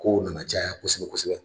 Kow nana caya kosɛbɛ kosɛbɛ